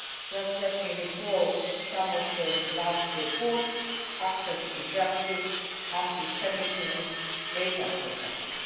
Just let me recall some of the last reports access to justice, anti Semitism and data protection.